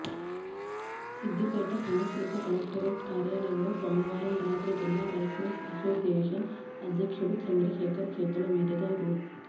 సిద్ధిపేట సమీకృత కలెక్టరేట్ కార్యాలయంలో సోమవారం రాత్రి జిల్లా రైస్ మిల్స్ అసోసియేషన్ అధ్యక్షుడు చంద్రశేఖర్ చేతుల మీదుగా రూ